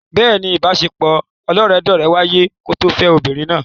Bẹ́ẹ̀ni, ìbaṣepọ̀ ọlọ́rẹ̀ẹ́sọ́rẹ̀ẹ́ wáyé kó tó fẹ́ ọmọbìnrin náà.